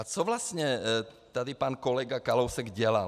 A co vlastně tady pan kolega Kalousek dělal?